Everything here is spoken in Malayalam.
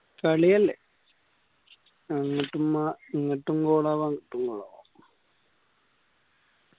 കളിയല്ലേ